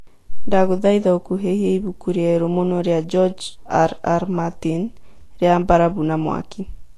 ndagũthaĩtha ũkuhehĩe ibũkũ rĩerũ mũno rĩa George.R.R Martin rĩa barabũ na mwakĩ